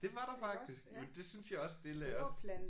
Det var der faktisk men det synes jeg også det lagde også